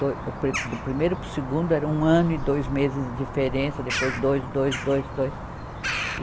To, o pri, do primeiro para o segundo era um ano e dois meses de diferença, depois dois, dois, dois, dois. e